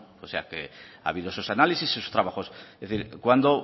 o sea que ha habido esos análisis esos trabajos así que cuándo